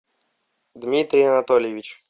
дмитрий анатольевич